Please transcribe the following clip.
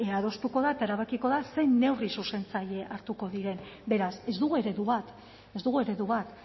adostuko da eta erabakiko da zein neurri zuzentzaile hartuko diren beraz ez dugu eredu bat ez dugu eredu bat